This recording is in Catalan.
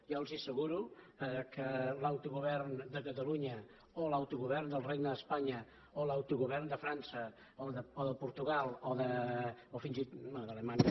jo els asseguro que l’autogovern de catalunya o l’autogovern del regne d’espanya o l’autogovern de frança o de portugal o fins i tot